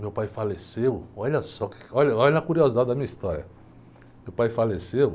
Meu pai faleceu, olha só, que, olha, olha a curiosidade da minha história. Meu pai faleceu